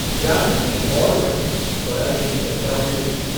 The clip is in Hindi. जागृति और बढ़ी स्वराज्य की चर्चा होने लगी।